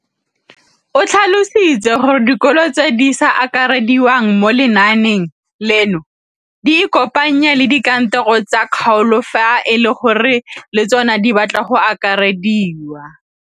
O tlhalositse gore dikolo tse di sa akarediwang mo lenaaneng leno di ikopanye le dikantoro tsa kgaolo fa e le gore le tsona di batla go akarediwa.